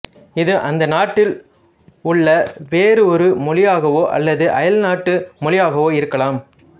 இது அந்த நாட்டில் உள்ள வேறு ஒரு மொழியாகவோ அல்லது அயல் நாட்டு மொழியாகவோ இருக்கலாம்